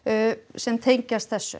sem tengjast þessu